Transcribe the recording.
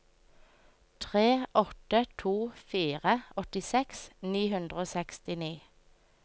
tre åtte to fire åttiseks ni hundre og sekstini